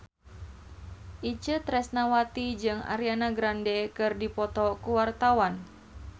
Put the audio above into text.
Itje Tresnawati jeung Ariana Grande keur dipoto ku wartawan